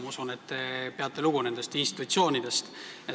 Ma usun, et te peate nendest institutsioonidest lugu.